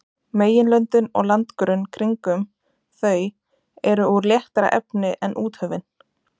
Meginlöndin og landgrunn kringum þau eru úr léttara efni en úthöfin.